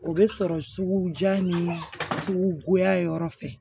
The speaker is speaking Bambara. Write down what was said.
O bɛ sɔrɔ sugu jan ni sugu goya yɔrɔ fɛ